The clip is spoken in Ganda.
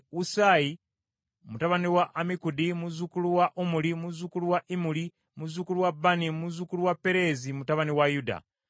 Usayi mutabani wa Ammikudi, muzzukulu wa Omuli, muzzukulu wa Imuli, muzzukulu wa Bani, muzzukulu wa Pereezi, mutabani wa Yuda.